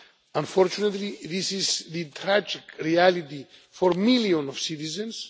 Unfortunately, this is the tragic reality for millions of citizens.